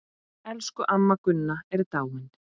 Elsku amma Gunna er dáin.